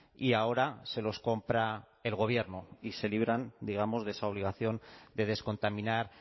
y ahora se los compra el gobierno y se libran digamos de esa obligación de descontaminar